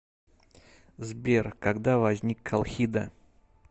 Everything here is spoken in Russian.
сбер когда возник колхида